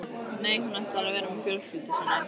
Nei, hún ætlar að vera með fjölskyldu sinni.